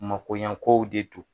Makoyankow de don.